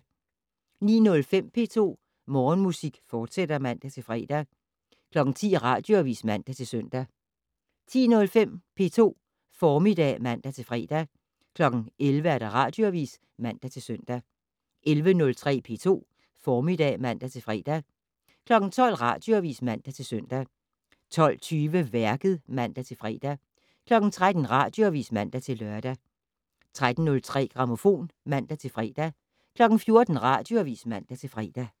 09:05: P2 Morgenmusik, fortsat (man-fre) 10:00: Radioavis (man-søn) 10:03: P2 Formiddag (man-fre) 11:00: Radioavis (man-søn) 11:03: P2 Formiddag (man-fre) 12:00: Radioavis (man-søn) 12:20: Værket (man-fre) 13:00: Radioavis (man-lør) 13:03: Grammofon (man-fre) 14:00: Radioavis (man-fre)